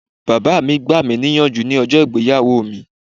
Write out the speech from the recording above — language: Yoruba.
Bàbá mi gbà mí ní ìyànjú ní ọjọ́ ìgbéyàwó mi.